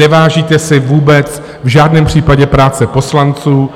Nevážíte si vůbec v žádném případě práce poslanců,